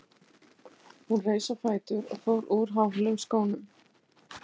Hún reis á fætur og fór úr hælaháum skónum